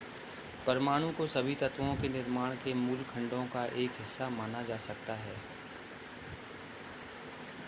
परमाणु को सभी तत्वों के निर्माण के मूल खंडों का एक हिस्सा माना जा सकता है